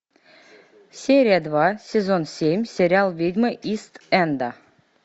серия два сезон семь сериал ведьмы ист энда